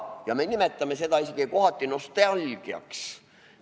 Ja me nimetame seda isegi kohati nostalgiaks.